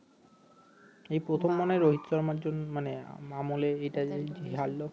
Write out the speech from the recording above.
এই প্রথম মনে হয় রোহিত শর্মার মানে আমলে এইটা হারলো